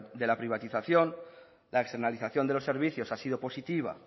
de la privatización la externalización de los servicios ha sido positiva